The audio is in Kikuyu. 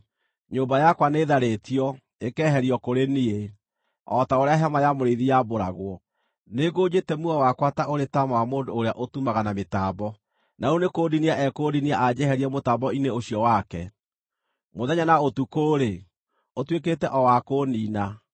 Nyũmba yakwa nĩĩtharĩĩtio, ĩkeherio kũrĩ niĩ, o ta ũrĩa hema ya mũrĩithi yambũragwo. Nĩngũnjĩte muoyo wakwa ta ũrĩ taama wa mũndũ ũrĩa ũtumaga na mĩtambo, na rĩu nĩkũndinia ekũndinia anjeherie mũtambo-inĩ ũcio wake; mũthenya na ũtukũ-rĩ, ũtuĩkĩte o wa kũũniina.